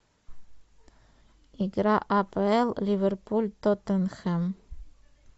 игра апл ливерпуль тоттенхэм